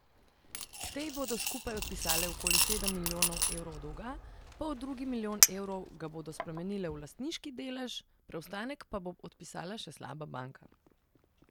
Te ji bodo skupaj odpisale okoli sedem milijonov evrov dolga, poldrugi milijon evrov ga bodo spremenile v lastniški delež, preostanek pa bo odpisala še slaba banka.